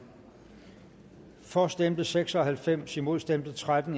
for stemte seks og halvfems imod stemte tretten